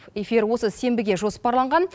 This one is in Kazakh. эфир осы сенбіге жоспарланған